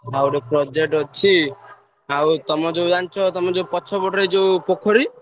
ଆଉ ଗୋଟେ project ଅଛି, ତମେ ଯୋଉ ଜାଣିଛ ତଆମ ପଛ ପଟରେ ଯୋଉ ପୋଖରୀ।